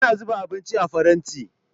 Ana zuba abinci a faranti